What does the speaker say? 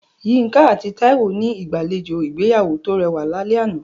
Yinka àti Taiwo ní ìgbàlejò ìgbéyàwó tó rẹwà lálẹ́ àná.